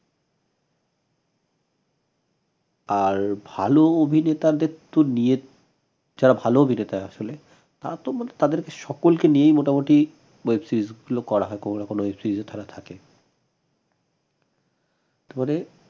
আর ভাল অভিনেতাদের তো নিয়ে যারা ভাল অভিনেতা আসলে তারা তো মানে তাদের সকলকে নিয়ে মোটামোটি web series গুলো করা হয় কোনো না কোনো web series এ তারা থাকে তারপরে